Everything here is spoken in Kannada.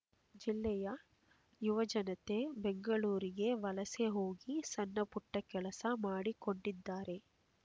ಜಿಲ್ಲೆಯ ಯುವಜನತೆ ಬೆಂಗಳೂರಿಗೆ ವಲಸೆ ಹೋಗಿ ಸಣ್ಣಪುಟ್ಟ ಕೆಲಸ ಮಾಡಿಕೊಂಡಿದ್ದಾರೆ